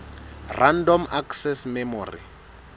random access memory